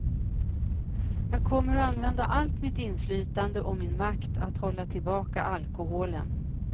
Jag kommer att använda allt mitt inflytande och min makt att hålla tillbaka alkoholen.